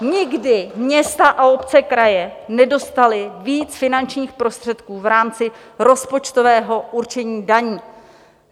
Nikdy města, obce a kraje nedostaly víc finančních prostředků v rámci rozpočtového určení daní.